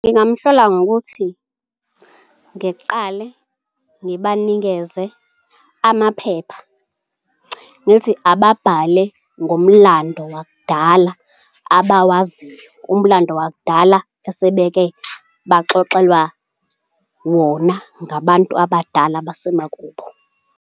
Ngingamhlola ngokuthi ngiqale ngibanikeze amaphepha ngithi ababhale ngomlando wakudala abawaziyo. Umlando wakudala esebeke baxoxelwa wona ngabantu abadala besemakubo.